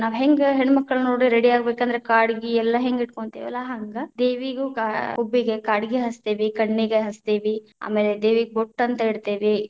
ನಾವ್‌ ಹೆಂಗ ಹೆಣ್ಣಮಕ್ಕಳ ನೋಡ್ರಿ ready ಯಾಗಬೇಕಂದ್ರ ಕಾಡಗಿ ಎಲ್ಲಾ ಹೆಂಗ ಇಟ್ಕೊಂತಿವಲ್ಲಾ ಹಂಗ, ದೇವಿಗೂ ಕಾ ಹುಬ್ಬಿಗ ಕಾಡಗಿ ಹಚ್ಚತೇವ, ಕಣ್ಣಿಗ ಹಚ್ಚತೇವಿ, ಆಮೇಲೆ ದೇವಿಗ ಬೊಟ್ಟ ಅಂತ ಇಡ್ತೇವಿ.